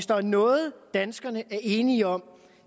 der noget danskerne er enige om i